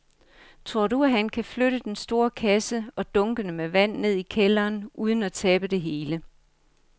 Tror du, at han kan flytte den store kasse og dunkene med vand ned i kælderen uden at tabe det hele?